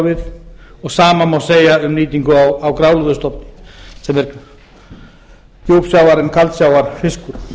við og sama má segja um nýtingu á grálúðustofn sem er djúpsjávar en kaldsjávarfiskur